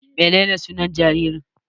Menene sunan jaririn?